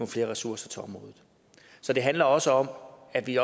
flere ressourser til området så det handler også om at vi